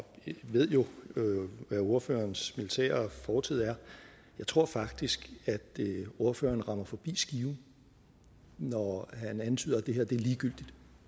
jeg ved jo hvad ordførerens militære fortid er jeg tror faktisk at ordføreren rammer forbi skiven når han antyder at det her er ligegyldigt